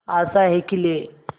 आशाएं खिले